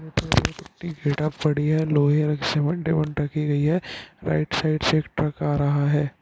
पड़ी है लोहे सीमेंट रखी की गई है राइट साइड से एक ट्रक आ रहा है